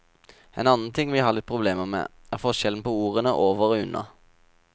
En annen ting vi har litt problemer med, er forskjellen på ordene over og under.